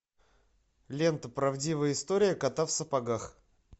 лента правдивая история кота в сапогах